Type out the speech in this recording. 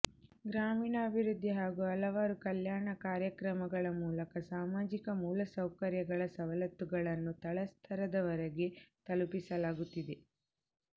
ಗ್ರಾಮೀಣಾಭಿವೃದ್ಧಿ ಹಾಗೂ ಹಲವಾರು ಕಲ್ಯಾಣ ಕಾರ್ಯಕ್ರಮಗಳ ಮೂಲಕ ಸಾಮಾಜಿಕ ಮೂಲಸೌಕರ್ಯಗಳ ಸವಲತ್ತುಗಳನ್ನು ತಳಸ್ತರದವರಿಗೆ ತಲುಪಿಸಲಾಗುತ್ತಿದೆ